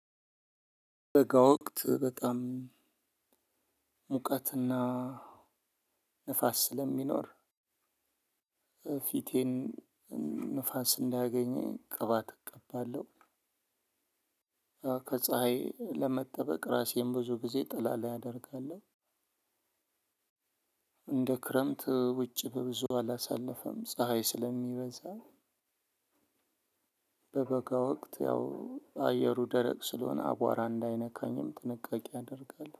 በጋ ወቅት በጣም ሙቀትና ንፋስ ስለሚኖር ፊቴን ንፋስ እንዳያገኘኝ ቅባት እቀባለሁ። ከፀሀይ ለመጠበቅ ራሴን ብዙ ጊዜ ጥላ ላይ አደርጋለሁ። እንደ ክረምት ውጭ በብዙ አላሳለፈም ፀሀይ ስለሚበዛ። በበጋ ወቅት ያው አየሩ ደረቅ ስለሆነ አቧራ እንዳይነካኝም ጥንቃቄ አደርጋለሁ።